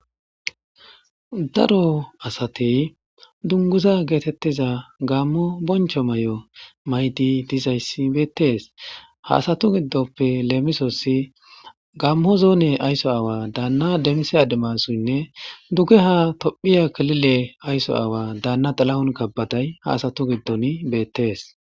daro asatey dunguza geetettiza gammo boncho may7o maydi dizayssi beettees haasatu giddoppe leemisossi gammo zoone aysso aawa daanna demise ademassoynne duge ha tophiya kilile aysso aawa daanna xalahun kabbaday haasatu giddon beettees.